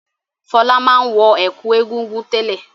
Fọlá máa ń wọ ẹ̀kú Egungun tẹ́lẹ̀.